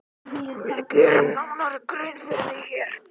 Við gerum nánari grein fyrir því hér.